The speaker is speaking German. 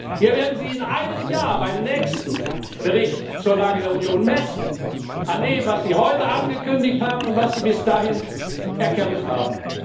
Wir werden Sie in einem Jahr beim nächsten Bericht zur Lage der Union messen an dem, was Sie heute angekündigt haben und was Sie bis dahin erkämpft haben.